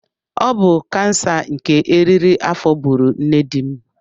Ọ bụ kansa nke eriri afọ gburu nne dim.